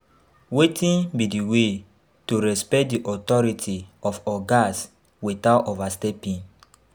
Wetin be di way to respect di authority of ogas without overstepping?